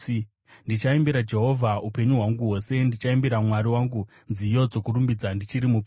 Ndichaimbira Jehovha upenyu hwangu hwose; ndichaimbira Mwari wangu nziyo dzokurumbidza ndichiri mupenyu.